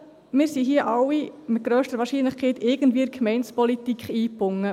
Wir alle hier sind mit grösster Wahrscheinlichkeit irgendwie in die Gemeindepolitik eingebunden.